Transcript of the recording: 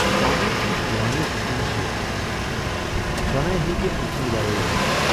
Tommy چھُ شِوانی خوٗنہٕ سۭتۍ روچھمُت، سۅ ناے ہیکہِ ٲمۍ سٕندِ ورٲے روٗزِتھ۔